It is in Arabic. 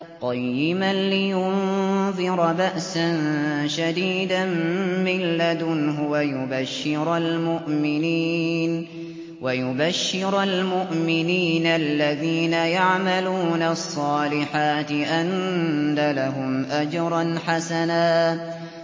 قَيِّمًا لِّيُنذِرَ بَأْسًا شَدِيدًا مِّن لَّدُنْهُ وَيُبَشِّرَ الْمُؤْمِنِينَ الَّذِينَ يَعْمَلُونَ الصَّالِحَاتِ أَنَّ لَهُمْ أَجْرًا حَسَنًا